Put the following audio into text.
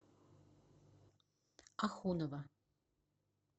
ахунова